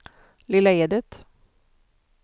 Lilla Edet